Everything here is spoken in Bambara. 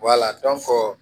Wala dɔnko